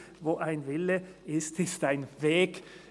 «Wo ein Wille ist, ist auch ein Weg!».